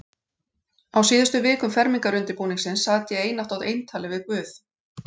Á síðustu vikum fermingarundirbúningsins sat ég einatt á eintali við guð.